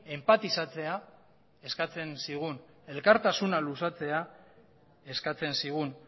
enpatizatzea eskatzen zigun elkartasuna luzatzea eskatzen zigun